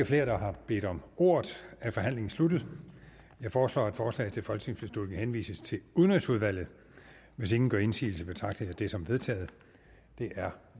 flere der har bedt om ordet er forhandlingen sluttet jeg foreslår at forslaget til folketingsbeslutning henvises til udenrigsudvalget hvis ingen gør indsigelse betragter jeg det som vedtaget det er